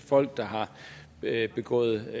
folk der har begået